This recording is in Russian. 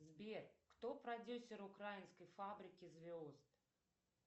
сбер кто продюсер украинской фабрики звезд